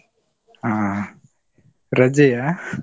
ಹಾ. ರಜೆಯಾ?